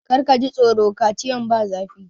Kar ka ji tsoro! Kaciyan ba zafi.